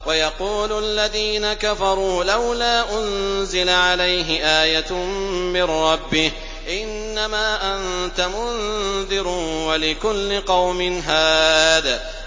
وَيَقُولُ الَّذِينَ كَفَرُوا لَوْلَا أُنزِلَ عَلَيْهِ آيَةٌ مِّن رَّبِّهِ ۗ إِنَّمَا أَنتَ مُنذِرٌ ۖ وَلِكُلِّ قَوْمٍ هَادٍ